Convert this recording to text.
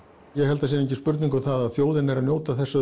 ég held að það sé engin spurning um það að þjóðin er að njóta þess